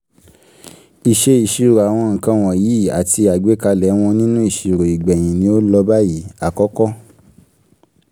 ìṣe ìṣirò àwọn nǹkan wọ̀nyìí àti àgbékalẹ̀ wọn nínú ìṣirò ìgbẹ̀yìn ni ó lọ báyìí: àkọ́kọ́.